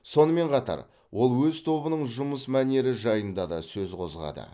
сонымен қатар ол өз тобының жұмыс мәнері жайында да сөз қозғады